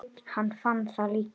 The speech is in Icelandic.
Hann fann það líka.